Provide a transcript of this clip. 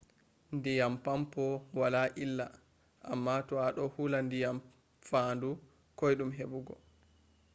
diyam pampoo waala illa amma to a do hulaa diyam fandu koidum hebugo